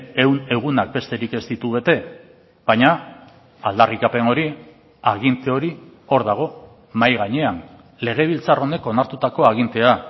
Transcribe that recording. ehun egunak besterik ez ditu bete baina aldarrikapen hori aginte hori hor dago mahai gainean legebiltzar honek onartutako agintea